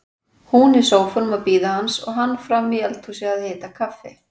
Hún í sófanum að bíða hans og hann frammi í eldhúsi að hita kaffi.